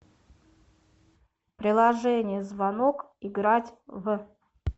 приложение звонок играть в